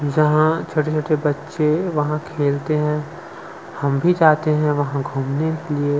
जहा छोटे-छोटे बच्चे वहां खेलते हैं हम भी जाते हैं वहां घूमने के लिए--